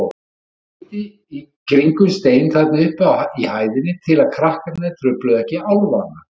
Hann girti í kringum stein þarna uppi í hæðinni til að krakkarnir trufluðu ekki álfana.